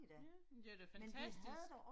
Ja, men det var da fantastisk